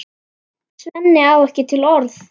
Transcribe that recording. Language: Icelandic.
Svenni á ekki til orð.